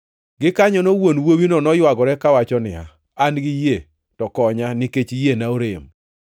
Gikanyono wuon wuowino noywagore kawacho niya, “An gi yie, to konya nikech yiena orem.”